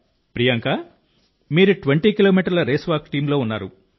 ప్రియాంకా మీరు 20 కిలోమీటర్ల race walk టీమ్లో ఉన్నారు